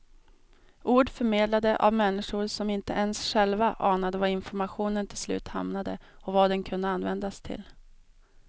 Ord förmedlade av människor som inte ens själva anade var informationen till slut hamnade och vad den kunde användas till.